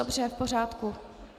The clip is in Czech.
Dobře, v pořádku.